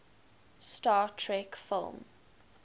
star trek film